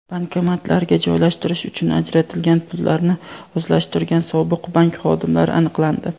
Bankomatlarga joylashtirish uchun ajratilgan pullarni o‘zlashtirgan sobiq bank xodimlari aniqlandi.